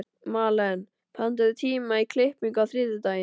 Malen, pantaðu tíma í klippingu á þriðjudaginn.